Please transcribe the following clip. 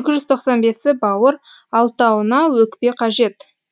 екі жүз тоқсан бесі бауыр алтауына өкпе қажет